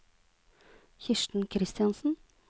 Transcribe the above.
Kirsten Christiansen